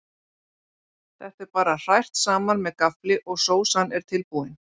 Þetta er bara hrært saman með gaffli og sósan er tilbúin.